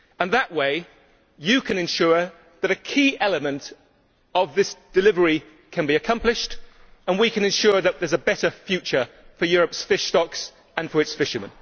That way, Madam President, you can ensure that a key element of this delivery can be accomplished and we can ensure that there is a better future for Europe's fish stocks and for its fishermen.